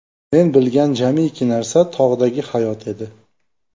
Men bilgan jamiki narsa – tog‘dagi hayot edi.